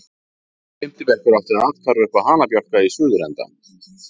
Fimmti bekkur átti athvarf uppá hanabjálka í suðurenda